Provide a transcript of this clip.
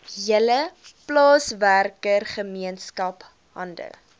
hele plaaswerkergemeenskap hande